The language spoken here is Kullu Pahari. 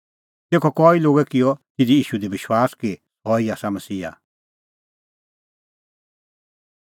तेखअ कई लोगै किअ तिधी ईशू दी विश्वास कि सह ई आसा मसीहा